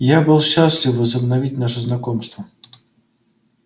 я был счастлив возобновить наше знакомство